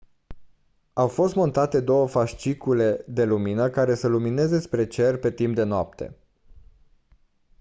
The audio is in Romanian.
au fost montate două fascicule de lumină care să lumineze spre cer pe timp de noapte